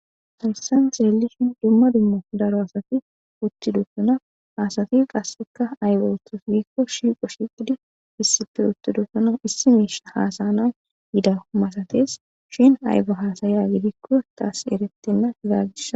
Fansan xeeli shin dumma dummo daro asati uttidosuna asati qasseka aybe uttos biikko shiiqo shiqidi issife uttidosuna issi miisha haasayna yida masates shin aybo haasayiya gidikko taas eretenna izaaggisa.